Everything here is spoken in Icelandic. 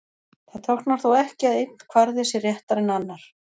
Það táknar þó ekki að einn kvarði sé réttari en annar.